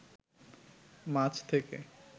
মাছ থেকে